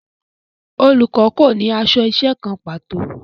Olùkọ́ kò ní aṣọ iṣẹ́ kan pàtó